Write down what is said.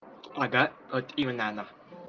ага вот именно она